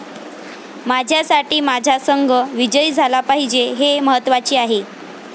माझ्यासाठी माझा संघ विजयी झाला पाहिजे हे महत्त्वाचे आहे.